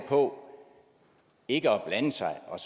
på ikke at blande sig og